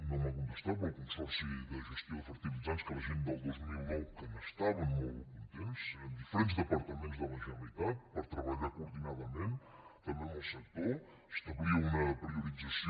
no m’ha contestat però el consorci de gestió de fertilitzants que la gent del dos mil nou n’estaven molt contents amb diferents departaments de la generalitat per treballar coordinadament també amb el sector establia una priorització